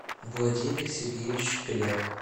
владимир сергеевич кляр